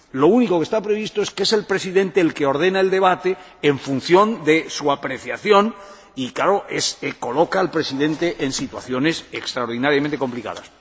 Lo único que está previsto es que es el Presidente el que ordena el debate en función de su apreciación, lo que, evidentemente, coloca al Presidente en situaciones extraordinariamente complicadas.